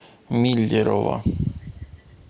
миллерово